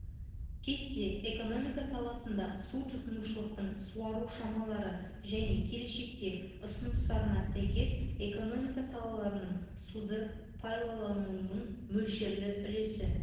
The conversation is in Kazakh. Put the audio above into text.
кесте экономика саласында су тұтынушылықтың суару шамалары және келешекте ұсыныстарына сәйкес экономика салаларының суды пайлаланылуының мөлшерлі үлесі